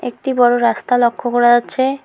একটি বড় রাস্তা লক্ষ্য করা যাচ্ছে।